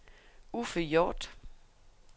Uffe Hjorth